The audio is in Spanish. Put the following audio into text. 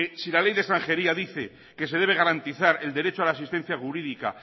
si la ley de extranjería dice que se debe garantizar el derecho a la asistencia jurídica